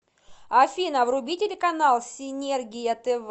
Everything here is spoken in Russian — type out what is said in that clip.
афина вруби телеканал синергия тв